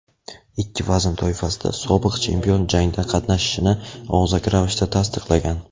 ikki vazn toifasida sobiq chempion jangda qatnashishini og‘zaki ravishda tasdiqlagan.